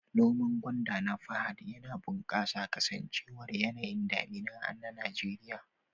Noman gwanda na Fahad yana bunƙasa kasancewar yanayin damina na Najeriya.